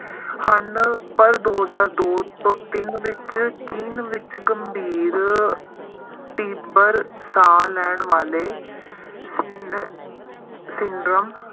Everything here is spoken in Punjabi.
ਹਨ ਪਰ ਦੋ ਹਜ਼ਾਰ ਦੋ ਤੋਂ ਤਿੰਨ ਵਿੱਚ ਚੀਨ ਵਿੱਚ ਗੰਭੀਰ ਤੀਬਰ ਸਾਹ ਲੈਣ ਵਾਲੇ ਸਿਨ~ ਸਿੰਡਰਮ